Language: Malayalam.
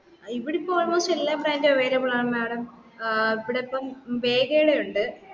ഇവിടിപ്പോ almost എല്ലാ brand ഉം available ആണ് madam ഏർ ഇവിടിപ്പം വെയ്‍ക ടെ ഉണ്ട്